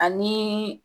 Ani